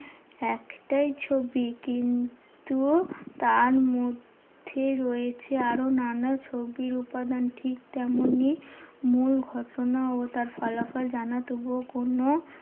একটাই ছবি কিন্তু তার মধ্যে রয়েছে আরো নানা ছবির উপাদান। ঠিক তেমনই মূল ঘটনা ও তার ফলাফল জানা, তবুও কোনো